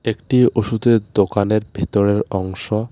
একটি ওষুধের দোকানের ভেতরের অংশ.